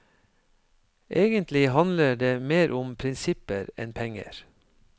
Egentlig handler det mer om prinsipper enn penger.